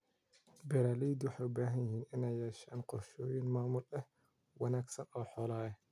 Beeraleydu waxay u baahan yihiin inay yeeshaan qorshooyin maamul oo wanaagsan oo xoolaha ah.